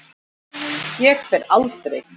Ég fer aldrei.